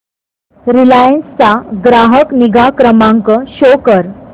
Reliance चा ग्राहक निगा क्रमांक शो कर